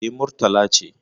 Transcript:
Eh, Murtala ce